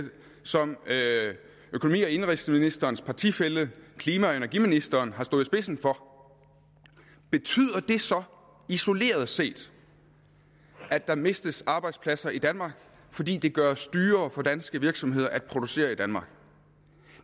som økonomi og indenrigsministerens partifælle klima og energiministeren har stået i spidsen for betyder det så isoleret set at der mistes arbejdspladser i danmark fordi det gøres dyrere for danske virksomheder at producere i danmark